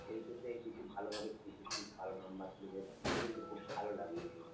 HS এ কিন্তু ভালোভাবে খেটেছিস ভালো number তুলেছিস এটা শুনে খুব ভালো লাগলো।